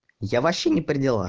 я вообще не пределах